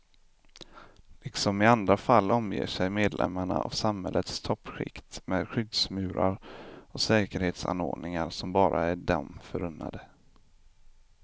Liksom i andra fall omger sig medlemmarna av samhällets toppskikt med skyddsmurar och säkerhetsanordningar som bara är dem förunnade.